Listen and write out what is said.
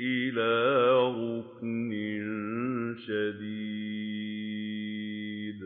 إِلَىٰ رُكْنٍ شَدِيدٍ